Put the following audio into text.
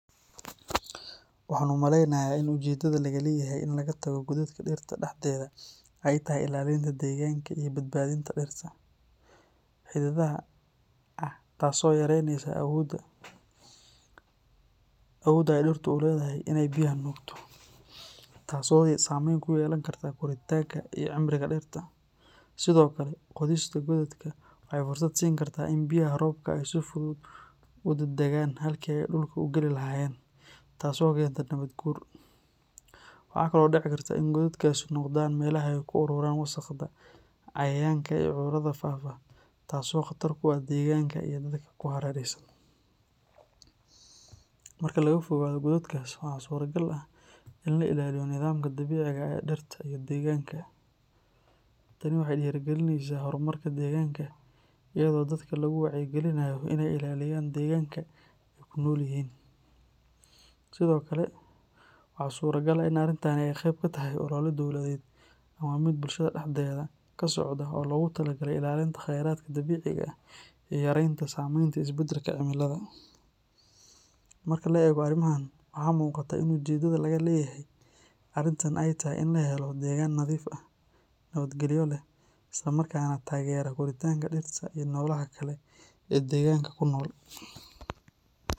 Waxaan u maleynayaa in ujeedada laga leeyahay in laga tago godadka dhirta dhexdeeda ay tahay ilaalinta deegaanka iyo badbaadinta dhirta. Marka godad laga qodo dhirta dhexdeeda waxay keentaa dhaawac dhanka xididada ah taasoo yareyneysa awoodda ay dhirtu u leedahay in ay biyaha nuugto, taasoo saameyn ku yeelan karta koritaanka iyo cimriga dhirta. Sidoo kale, qodista godadka waxay fursad siin kartaa in biyaha roobka ay si fudud u daadagaan halkii ay dhulka u geli lahaayeen, taasoo keenta nabaad guur. Waxaa kaloo dhici karta in godadkaasi noqdaan meelaha ay ku ururaan wasaqda, cayayaanka iyo cudurrada faafa, taasoo khatar ku ah deegaanka iyo dadka ku hareeraysan. Marka laga fogaado godadkaas waxaa suuragal ah in la ilaaliyo nidaamka dabiiciga ah ee dhirta iyo deegaanka. Tani waxay dhiirrigelinaysaa horumarka deegaanka iyadoo dadka lagu wacyigelinayo in ay ilaaliyaan deegaanka ay ku nool yihiin. Sidoo kale, waxaa suuragal ah in arrintan ay qayb ka tahay olole dowladeed ama mid bulshada dhexdeeda ka socda oo loogu talagalay ilaalinta khayraadka dabiiciga ah iyo yareynta saamaynta isbeddelka cimilada. Marka la eego arrimahan, waxaa muuqata in ujeedada laga leeyahay arrintan ay tahay in la helo deegaan nadiif ah, nabadgelyo leh, isla markaana taageera koritaanka dhirta iyo noolaha kale ee deegaanka ku nool.